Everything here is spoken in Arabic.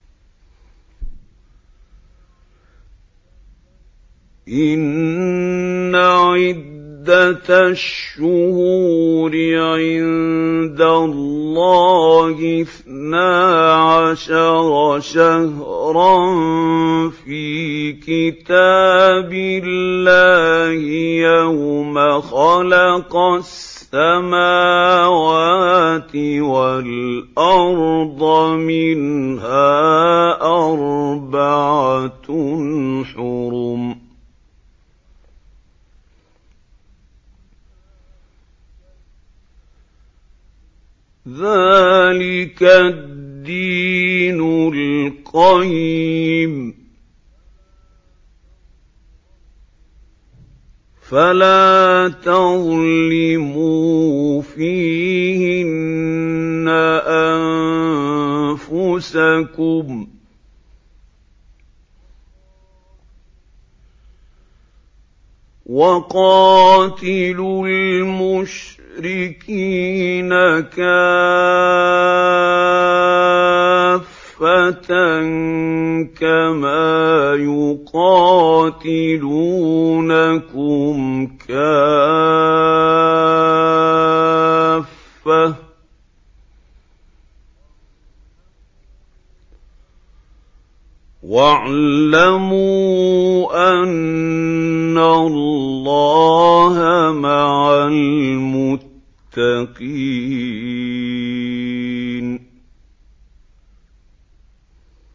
إِنَّ عِدَّةَ الشُّهُورِ عِندَ اللَّهِ اثْنَا عَشَرَ شَهْرًا فِي كِتَابِ اللَّهِ يَوْمَ خَلَقَ السَّمَاوَاتِ وَالْأَرْضَ مِنْهَا أَرْبَعَةٌ حُرُمٌ ۚ ذَٰلِكَ الدِّينُ الْقَيِّمُ ۚ فَلَا تَظْلِمُوا فِيهِنَّ أَنفُسَكُمْ ۚ وَقَاتِلُوا الْمُشْرِكِينَ كَافَّةً كَمَا يُقَاتِلُونَكُمْ كَافَّةً ۚ وَاعْلَمُوا أَنَّ اللَّهَ مَعَ الْمُتَّقِينَ